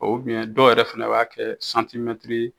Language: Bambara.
O ubiyɛn dɔw yɛrɛ fɛnɛ b'a kɛ santimɛtiri